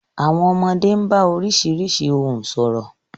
Àwọn ọmọdé ń bá oríṣiríṣi ohùn sọ̀rọ̀.